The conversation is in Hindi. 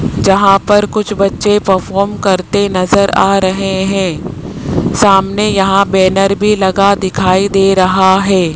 जहां पर कुछ बच्चे परफॉर्म करते नजर आ रहे हैं सामने यहां बैनर भी लगा दिखाई दे रहा है।